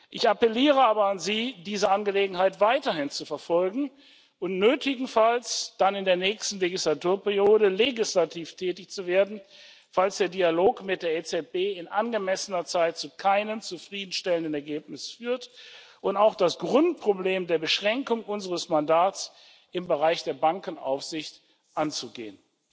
Ich appelliere aber an Sie, diese Angelegenheit weiterhin zu verfolgen und nötigenfalls dann in der nächsten Wahlperiode legislativ tätig zu werden, falls der Dialog mit der EZB nicht in angemessener Zeit zu einem zufriedenstellenden Ergebnis führt, und auch das Grundproblem der Beschränkung unseres Mandats im Bereich der Bankenaufsicht anzugehen.